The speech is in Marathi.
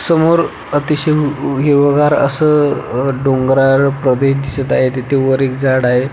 समोर अतिशय हिरवगार अस अह डोंगराळ प्रदेश दिसत आहे तिथे वर एक झाड आहे.